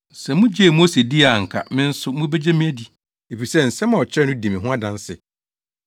Sɛ mugyee Mose dii a anka me nso mubegye me adi, efisɛ nsɛm a ɔkyerɛw no di me ho adanse.